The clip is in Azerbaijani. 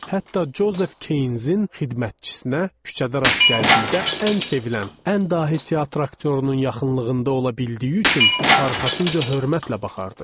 Hətta Jozef Keynzin xidmətçisinə küçədə rast gəldikdə ən sevilən, ən dahi teatr aktyorunun yaxınlığında ola bildiyi üçün arxasınca hörmətlə baxardıq.